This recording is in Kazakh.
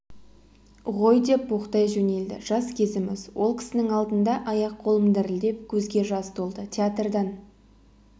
ғой деп боқтай жөнелді жас кезіміз ол кісінің алдында аяқ-қолым дірілдеп көзге жас толды театрдан